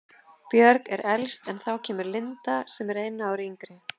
Björg er elst en þá kemur Linda sem er einu ári yngri.